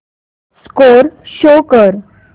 score show कर